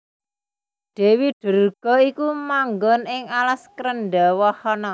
Dèwi Durga iku manggon ing alas Krendhawahana